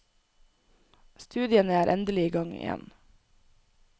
Studiene er endelig i gang igjen.